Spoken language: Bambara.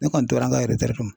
Ne kɔni tora n ka kɔnɔ.